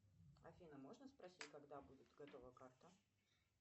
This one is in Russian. афина можно спросить когда будет готова карта